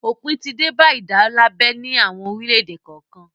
Òpin ti dé bá ìdálábẹ ní àwọn orílẹ̀-èdè kọ̀ọ̀kan.